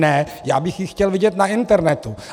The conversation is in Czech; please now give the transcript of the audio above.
Ne, já bych ji chtěl vidět na internetu.